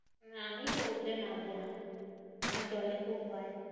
আমি সমুদ্রে নামবো না। আমার জলে খুব ভয়।